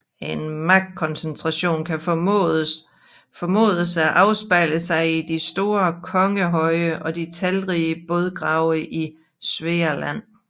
En magtkoncentration kan formodes at afspejle sig i de store kongehøje og de talrige bådgrave i Svealand